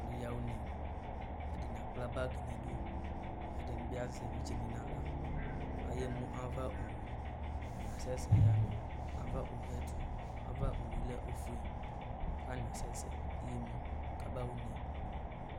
Alʋ ɛdɩnɩ yaɣa une, ɛdɩnɩ akpla bag nʋ idu, ɛdɩnɩ bɩ azɛ evidzenɩ nʋ aɣla, ayaɣa emu ava owu, atanɩ asɛsɛ yaɣa ava owu yɛ ɛtʋ, ava owu yɛ lɛ ofue, kʋ atanɩ asɛsɛ yaɣa emu kabaɣa une